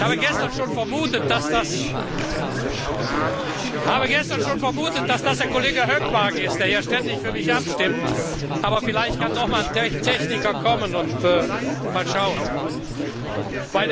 Ich habe gestern schon vermutet, dass das der Kollege Hökmark ist, der hier ständig für mich abstimmt, aber vielleicht kann doch mal ein Techniker kommen und sich das ansehen.